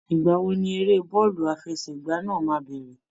Ìgbà wo ni eré bọ́ọ̀lù àfẹsẹ̀gbá náà máa bẹ̀rẹ̀?